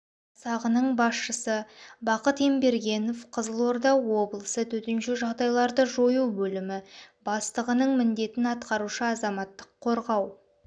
жасағының басшысы бақыт ембергенов қызылорда облысы төтенше жағдайларды жою бөлімі бастығының міндетін атқарушы азаматтық қорғау